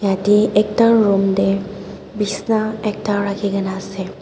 yati ekta room teh besna ekta rakhi kina ase.